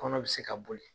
Kɔnɔ bɛ se ka boli